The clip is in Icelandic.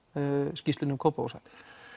skýrslunni um Kópavogshæli